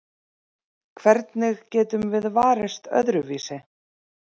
Hvernig getum við varist öðruvísi?